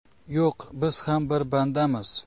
Yo‘q, biz ham bir bandamiz.